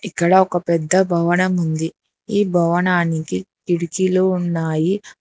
ఇక్కడ ఒక పెద్ద భవనం ఉంది ఈ భవనానికి కిటికీలు ఉన్నాయి ఆ--